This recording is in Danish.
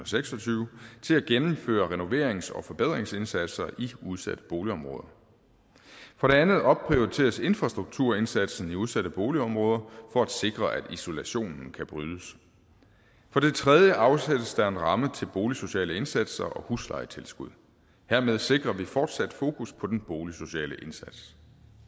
seks og tyve til at gennemføre renoverings og forbedringsindsatser i udsatte boligområder for det andet opprioriteres infrastrukturindsatsen i de udsatte boligområder for at sikre at isolationen kan brydes for det tredje afsættes der en ramme til boligsociale indsatser og huslejetilskud hermed sikrer vi fortsat fokus på den boligsociale indsats